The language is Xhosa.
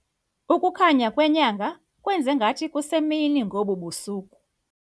Ukukhanya kwenyanga kwenze ngathi kusemini ngobu busuku.